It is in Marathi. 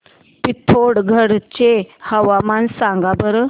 पिथोरगढ चे हवामान सांगा बरं